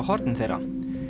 hornin þeirra